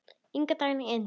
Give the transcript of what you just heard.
Inga Dagný Eydal.